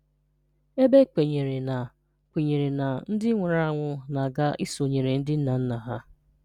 ebe e kwenyere na kwenyere na ndị nwụrụ anwụ na-aga isonyere ndị nna nna ha.